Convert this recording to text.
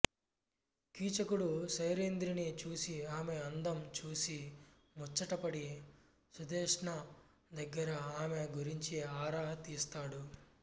కీచకుడు సైరంధ్రిని చూసి ఆమె అందం చూసి ముచ్చటపడి సుధేష్ణ దగ్గర ఆమె గురించి ఆరా తీస్తాడు